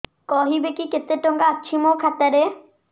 କହିବେକି କେତେ ଟଙ୍କା ଅଛି ମୋ ଖାତା ରେ